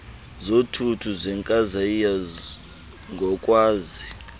zothuthu zenkasayiya ngokwazi